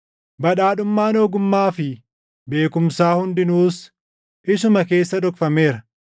badhaadhummaan ogummaa fi beekumsaa hundinuus isuma keessa dhokfameera.